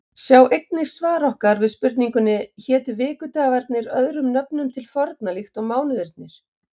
Sjá einnig svar okkar við spurningunni Hétu vikudagarnir öðrum nöfnum til forna líkt og mánuðirnir?